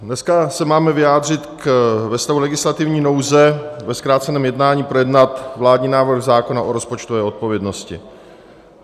Dneska se máme vyjádřit ve stavu legislativní nouze, ve zkráceném jednání projednat vládní návrh zákona o rozpočtové odpovědnosti.